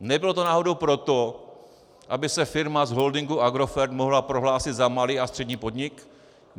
Nebylo to náhodou proto, aby se firma z holdingu Agrofert mohla prohlásit za malý a střední podnik?